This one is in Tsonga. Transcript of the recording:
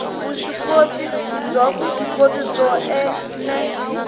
vuswikoti byo vuswikoti byo ene